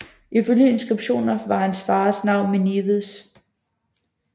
Ifølge inskriptioner var hans fars navn Menides